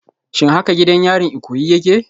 Shin haka gidan yarin Ikoyi yake?